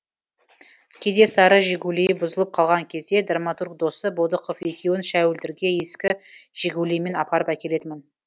кейде сары жигулиі бұзылып қалған кезде драматург досы бодықов екеуін шәуілдірге ескі жигулиіммен апарып әкелетінмін